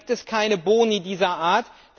Da gibt es keine Boni dieser Art.